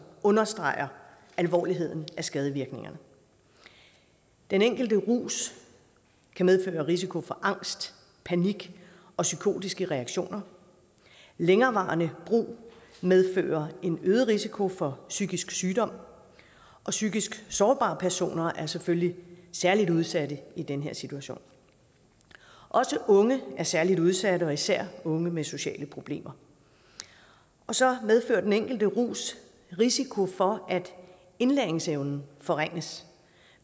understreger alvoren af skadevirkningerne den enkelte rus kan medføre risiko for angst panik og psykotiske reaktioner længerevarende brug medfører en øget risiko for psykisk sygdom og psykisk sårbare personer er selvfølgelig særlig udsatte i den her situation også unge er særlig udsatte det gælder især unge med sociale problemer så medfører den enkelte rus risiko for at indlæringsevnen forringes